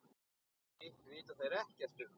Hitt vita þeir ekkert um.